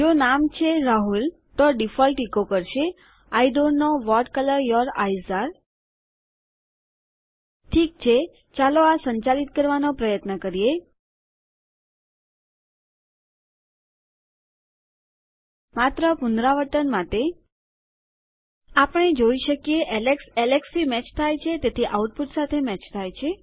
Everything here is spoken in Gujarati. જો નામ છે રાહુલ તો ડીફોલ્ટ ઇકો કરશે I don't know what colour your eyes અરે ઠીક છે ચાલો આ સંચાલિત કરવાનો પ્રયત્ન કરીએ માત્ર પુનરાવર્તન માટે આપણે જોઈ શકીએ એલેક્સ એલેક્સથી મેચ થાય છે તેથી આઉટપુટ સાથે મેચ થાય છે